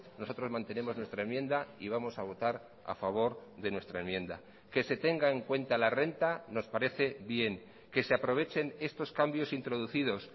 nosotros mantenemos nuestra enmienda y vamos a votar a favor de nuestra enmienda que se tenga en cuenta la renta nos parece bien que se aprovechen estos cambios introducidos